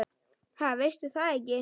Ha, veistu það ekki?